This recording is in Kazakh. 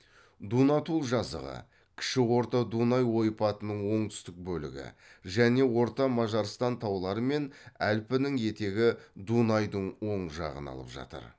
дунатул жазығы кіші орта дунай ойпатының оңтүстік бөлігі және орта мажарстан таулары мен әлпінің етегі дунайдың оң жағын алып жатыр